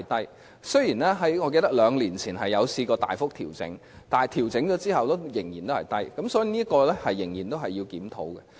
我記得雖然在兩年前曾經大幅調整，但調整後收費仍然很低，所以這方面仍須檢討。